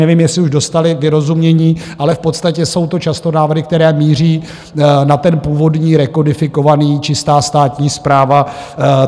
Nevím, jestli už dostali vyrozumění, ale v podstatě jsou to často návrhy, které míří na ten původní rekodifikovaný - čistá státní správa.